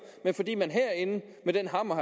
men fordi man herinde med den hammer